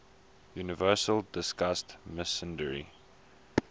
university discussed misandry